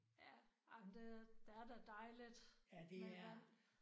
Ja ej men det det er da dejligt med vand